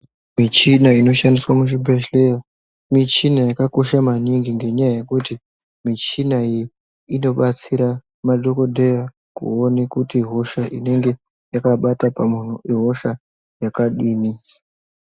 Michina inoshandiswa muzvibhedhleya michina yakakosha maningi ngenyaya yekuti michina iyi inobatsira madhokodheya kuone kuti hosha inenge yakabata pamuntu ihosha yakadini.